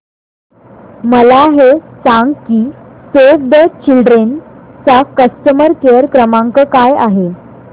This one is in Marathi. मला हे सांग की सेव्ह द चिल्ड्रेन चा कस्टमर केअर क्रमांक काय आहे